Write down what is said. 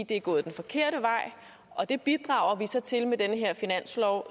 det er gået den forkerte vej og vi bidrager så til det med den her finanslov